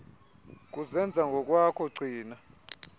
kuzenza ngokwakho gcina